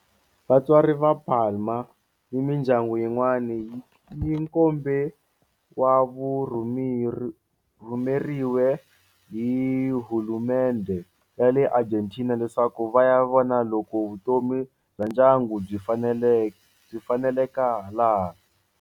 Vatswari va Palma ni mindyangu yin'wana ni nkombe vurhumeriwe hi hulumendhe ya le Argentina leswaku va ya vona loko vutomi bya ndyangu byi faneleke laha.